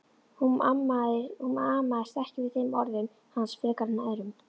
Hún amaðist ekki við þeim orðum hans frekar en öðrum.